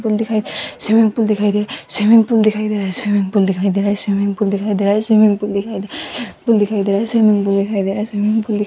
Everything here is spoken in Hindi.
पूल दिखाई स्विमिंग पूल दिखाई दे स्विमिंग पूल दिखाई दे रहा है स्विमिंग पूल दिखाई दे रहा है स्विमिंग पूल दिखाई दे रहा है स्विमिंग पूल दिखाई दे रहा है स्विमिंग पूल दिखाई दे रहा है स्विमिंग पूल दिखाई दे रहा है स्विमिंग पूल दिखा --